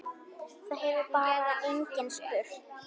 Það hefur bara enginn spurt